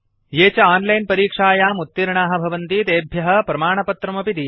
ये च आन्लैन् परीक्षायाम् उत्तीर्णाः भवन्ति तेभ्यः प्रमाणपत्रमपि दीयते